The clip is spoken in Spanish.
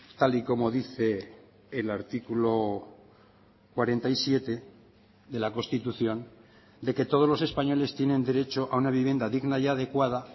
tal y como dice el artículo cuarenta y siete de la constitución de que todos los españoles tienen derecho a una vivienda digna y adecuada